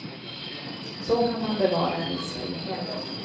Så kan man bevara en viss frihet.